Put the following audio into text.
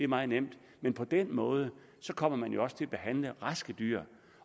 meget nemt men på den måde kommer man også til at behandle raske dyr